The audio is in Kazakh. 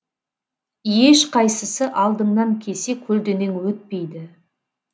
ешқайсысы алдыңнан кесе көлденең өтпейді